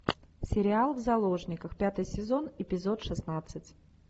сериал в заложниках пятый сезон эпизод шестнадцать